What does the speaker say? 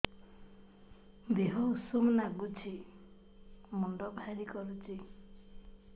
ଦିହ ଉଷୁମ ନାଗୁଚି ମୁଣ୍ଡ ଭାରି କରୁଚି